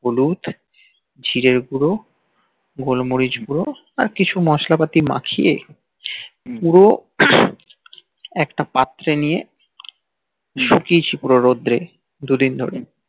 হলুদ জিরে গুল গল্মরিচ গুল আর কিছু মস্লা পাতি মাখিয়ে পুরো একটা পাত্রে নিয়ে সুখিয়েছি পুরো রদ্রে দুদিন ধরে